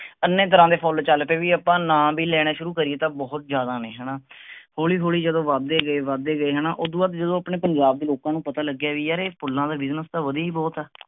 ਏਨੇ ਤਰ੍ਹਾਂ ਦੇ ਫੁੱਲ ਚਲ ਪਏ ਵੀ ਆਪਾ ਨਾਂ ਲੈਣੇ ਸ਼ੁਰੂ ਕਰੀਏ ਤਾਂ ਬਹੁਤ ਜ਼ਿਆਦਾ ਨੇ ਹੈਨਾ। ਹੌਲੀ ਹੌਲੀ ਜਦੋਂ ਵੱਧ ਦੇ ਗਏ ਵੱਧ ਦੇ ਗਏ ਹੈਨਾ ਓਦੋ ਬਾਅਦ ਜਦੋਂ ਆਪਣੇ ਪੰਜਾਬ ਦੀ ਲੋਕਾਂ ਨੂੰ ਪਤਾ ਲਗਿਆ ਵੀ ਯਾਰ ਏ ਫੁੱਲਾਂ ਦਾ business ਤਾਂ ਵਧੀਆ ਹੀ ਬਹੁਤ ਆ।